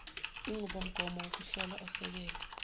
inqubomgomo wokuhlola osekelwe